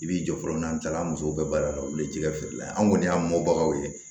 I b'i jɔ fɔlɔ n'an taara an musow ka baara la olu ye jɛgɛ feere la ye an kɔni y'a mɔbagaw ye